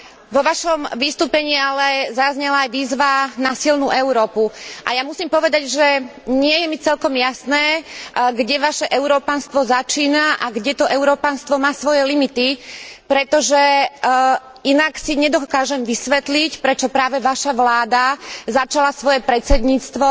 Vo vašom vystúpení ale zaznela aj výzva na silnú Európu a ja musím povedať, že nie je mi celkom jasné, kde vaše európanstvo začína a kde to európanstvo má svoje limity, pretože inak si nedokážem vysvetliť, prečo práve vaša vláda začala svoje predsedníctvo